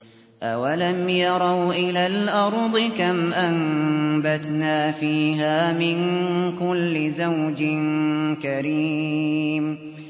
أَوَلَمْ يَرَوْا إِلَى الْأَرْضِ كَمْ أَنبَتْنَا فِيهَا مِن كُلِّ زَوْجٍ كَرِيمٍ